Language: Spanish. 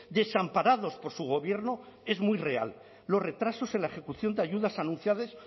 desamparados por su gobierno es muy real los retrasos en la ejecución de ayudas anunciadas